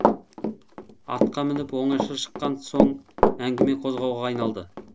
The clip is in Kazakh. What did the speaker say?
атқа мініп оңаша шыққан соң әңгіме қозғауға айналды